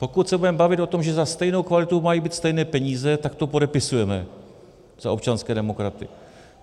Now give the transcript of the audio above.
Pokud se budeme bavit o tom, že za stejnou kvalitu mají být stejné peníze, tak to podepisujeme za občanské demokraty.